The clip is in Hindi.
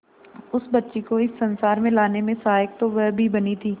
उस बच्ची को इस संसार में लाने में सहायक तो वह भी बनी थी